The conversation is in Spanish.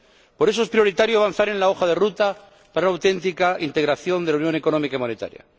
Por eso es prioritario avanzar en la hoja de ruta para una auténtica integración de la unión económica y monetaria.